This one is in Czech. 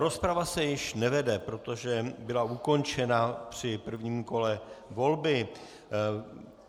Rozprava se již nevede, protože byla ukončena při prvním kole volby.